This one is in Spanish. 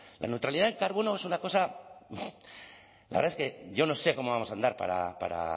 la neutralidad del carbono es una cosa la verdad es que yo no sé cómo vamos a andar para